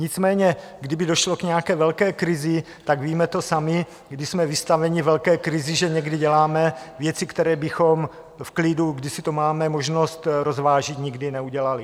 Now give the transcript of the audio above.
Nicméně kdyby došlo k nějaké velké krizi, tak víme to sami, když jsme vystaveni velké krizi, že někdy děláme věci, které bychom v klidu, kdy si to máme možnost rozvážit, nikdy neudělali.